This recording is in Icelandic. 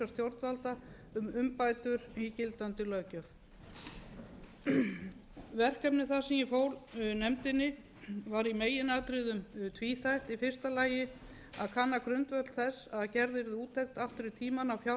stjórnvalda um umbætur í gildandi löggjöf verkefni það sem ég fól nefndinni var í meginatriðum tvíþætt í fyrsta lagi að kanna grundvöll þess að gerð yrði úttekt aftur í tímann á fjárreiðum